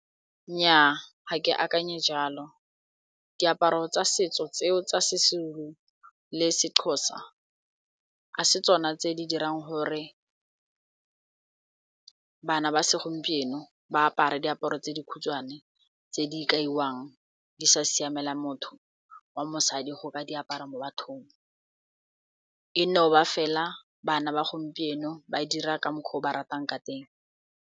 Nnyaa, ga ke akanye jalo diaparo tsa setso tseo tsa Sezulu le Sexhosa a se tsona tse di dirang gore bana ba segompieno ba apare diaparo tse dikhutshwane tse di kaiwang di sa siamela motho wa mosadi go ka di apara mo bathong e no ba fela bana ba gompieno ba dira ka mokgwa o ba ratang ka teng.